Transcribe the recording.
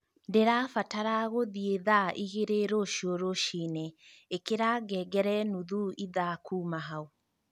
ndĩrabatara gũthiĩ thaa igĩrĩ rũcio rũcinĩ ĩkĩra ngengere nuthu ithaa kuuma hau